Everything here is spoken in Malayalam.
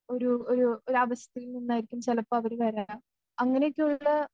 ഒരു ഒരു ഒരവസ്ഥയിൽനിന്നായിരിക്കും ചെലപ്പോ അവര് വരാൻ അങ്ങനെയൊക്കെയുള്ള